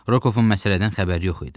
Rokovun məsələdən xəbəri yox idi.